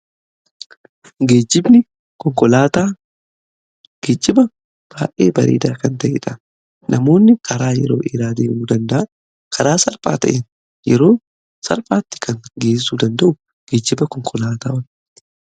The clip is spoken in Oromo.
geejibni konkolaataa gejjiba baay'ee bareedaa kan ta'edha. namoonni karaa yeroo eraad'uu dandaa karaa sal'phaa ta'een yeroo sal'phaatti kan geessu danda'u gejjiba konkolaataawwan